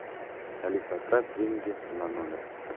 алиса отправь деньги на номер